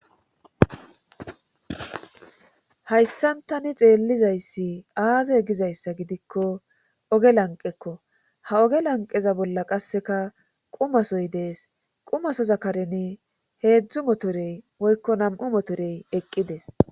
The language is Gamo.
Hayssan tani xeellizayssi aaze gizayssa gidikko oge lanqekko ha oge lanqeza bolla qasseka qumasoy dees qumaso zakareni heedzdzu motorey woykko nam7u motorey eqqides.